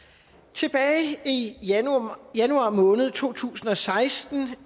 tilbage i januar januar måned to tusind og seksten